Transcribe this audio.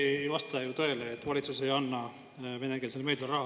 No see ei vasta ju tõele, et valitsus ei anna venekeelsele meediale raha.